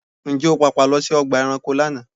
Ǹjẹ́ o pàpà lọ sí ọgbà ẹranko lánàá?